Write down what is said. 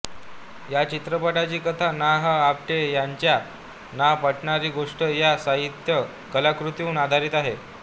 या चित्रपटाची कथा ना ह आपटे यांच्या न पटणारी गोष्ट या साहित्य कलाकृतीवर आधारित आहे